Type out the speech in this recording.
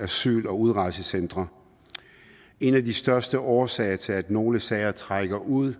asyl og udrejsecentre en af de største årsager til at nogle sager trækker ud